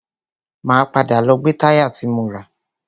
Máa padà lọ gbe táyà ti mo rà.